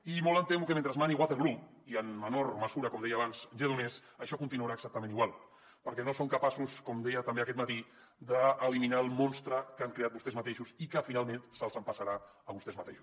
i molt em temo que mentre mani waterloo i en menor mesura com deia abans lledoners això continuarà exactament igual perquè no són capaços com deia també aquest matí d’eliminar el monstre que han creat vostès mateixos i que finalment se’ls empassarà a vostès mateixos